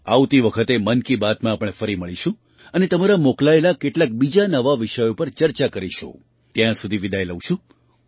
આવતી વખતે મન કી બાતમાં આપણે ફરી મળીશું અને તમારા મોકલાયેલા કેટલાક બીજા નવા વિષયો પર ચર્ચા કરીશું ત્યાં સુધી વિદાય લઉં છું